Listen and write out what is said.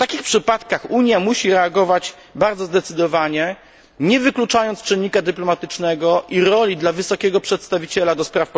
W takich przypadkach Unia musi reagować bardzo zdecydowanie, nie wykluczając czynnika dyplomatycznego i roli dla Wysokiego Przedstawiciela ds.